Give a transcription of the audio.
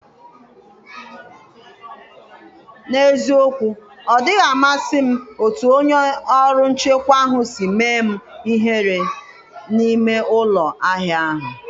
N’eziokwu, odịghị amasị m otú onye ọrụ nchekwa ahụ si mee m ihere n’ime ụlọ ahịa ahụ.